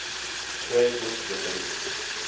prayer book rebellion